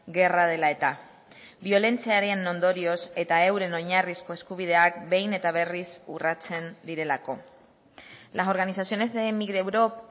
gerra dela eta biolentziaren ondorioz eta euren oinarrizko eskubideak behin eta berriz urratzen direlako las organizaciones de migreurop